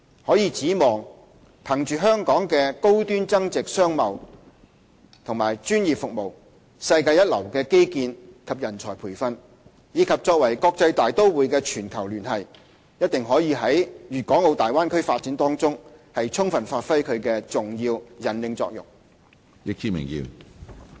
可以指望，憑着香港的高端增值商貿和專業服務、世界一流的基建和人才培訓，以及作為國際大都會的全球連繫，一定可以在大灣區發展中充分發揮其重要引領作用。